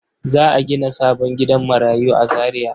Za a gina sabon gidan marayu a Zariya?